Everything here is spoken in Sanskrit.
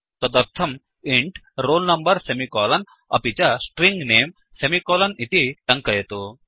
तदर्थम् इन्ट् roll number सेमिकोलन् अपि च स्ट्रिंग नमे सेमिकोलन् इति टङ्कयतु